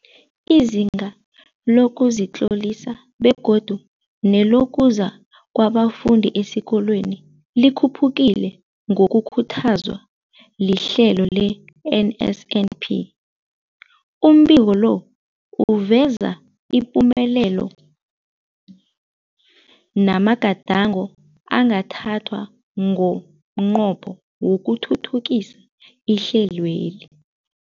Izinga lokuzitlolisa begodu nelokuza kwabafundi esikolweni likhuphukile ngokukhuthazwa lihlelo le-NSNP. Umbiko lo uveza ipumelelo namagadango angathathwa ngomnqopho wokuthuthukisa ihlelweli.